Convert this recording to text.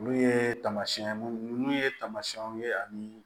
Olu ye tamasiyɛn munnu ye tamasiyɛnw ye ani